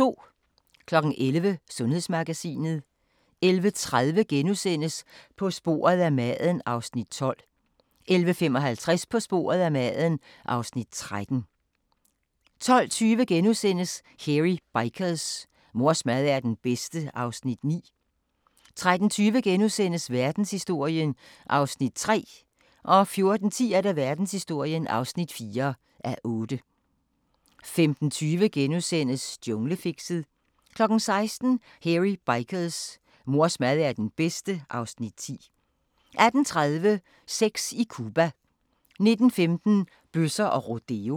11:00: Sundhedsmagasinet 11:30: På sporet af maden (Afs. 12)* 11:55: På sporet af maden (Afs. 13) 12:20: Hairy Bikers: Mors mad er den bedste (Afs. 9)* 13:20: Verdenshistorien (3:8)* 14:10: Verdenshistorien (4:8) 15:20: Junglefixet * 16:00: Hairy Bikers: Mors mad er den bedste (Afs. 10) 18:30: Sex i Cuba 19:15: Bøsser og rodeo